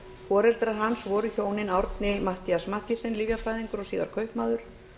foreldrar hans voru hjónin árni matthías mathiesen lyfjafræðingur og síðar kaupmaður